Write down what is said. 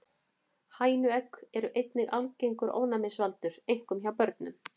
Hænuegg eru einnig algengur ofnæmisvaldur, einkum hjá börnum.